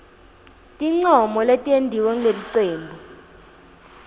tincomo letentiwe ngulelicembu